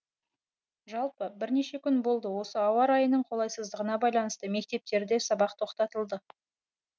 жалпы бірнеше күн болды осы ауа райының қолайсыздығына байланысты мектептерде сабақ тоқтатылды